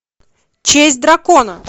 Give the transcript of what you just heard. честь дракона